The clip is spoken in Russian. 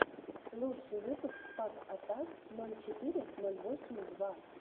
лучший выпуск пак атак ноль четыре ноль восемь два